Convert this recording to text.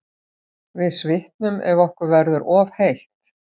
Við svitnum ef okkur verður of heitt.